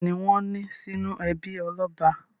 Bẹ́ẹ̀ ni, wọ́n ní sínú ẹbí ọlọ́ba.